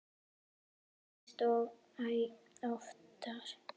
Sem gerist æ oftar.